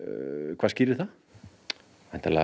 hvað skýrir það væntanlega